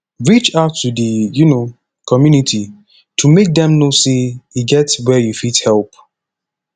reach out to di um community to make dem know sey e get where you fit help